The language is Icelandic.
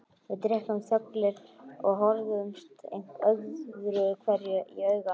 Við drukkum þöglir og horfðumst öðruhverju í augu.